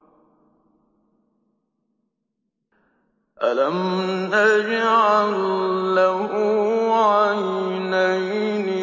أَلَمْ نَجْعَل لَّهُ عَيْنَيْنِ